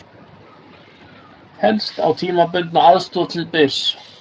Fellst á tímabundna aðstoð til Byrs